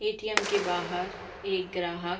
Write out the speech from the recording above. ATM. के बाहर एक ग्राहक --